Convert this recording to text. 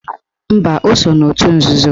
Mba, o so n'otu nzuzo